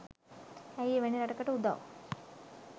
ඇයි එවැනි රටකට උදව්